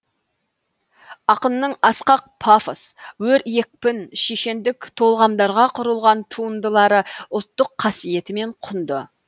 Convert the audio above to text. ақынның асқақ пафос өр екпін шешендік толғамдарға құрылған туындылары ұлттық қасиетімен құнды